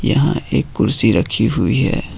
यहां एक कुर्सी रखी हुई है।